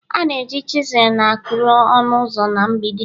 a na-eji chisel na-akuri ọnụ ụzọ na mgbidi